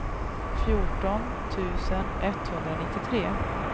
fjorton tusen etthundranittiotre